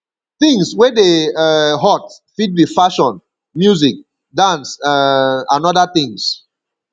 things wey dey um hot fit be fashion music dance um and oda things